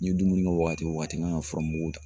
N ye dumuni kɛ wagati o wagati n kan ka fura mugu ta.